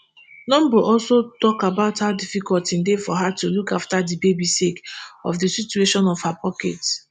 numbur also tok about how difficult e dey for her to look after di baby sake of di situation of her pocket